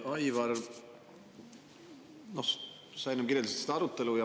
Aivar, sa enne kirjeldasid seda arutelu.